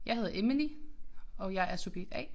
Jeg hedder Emily og jeg er subjekt A